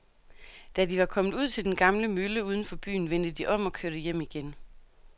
Da de var kommet ud til den gamle mølle uden for byen, vendte de om og kørte hjem igen.